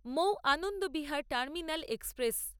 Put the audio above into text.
Mou Anand Vihar terminal express